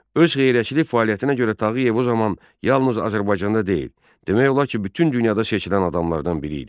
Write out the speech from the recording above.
Öz xeyriyyəçilik fəaliyyətinə görə Tağıyev o zaman yalnız Azərbaycanda deyil, demək olar ki, bütün dünyada seçilən adamlardan biri idi.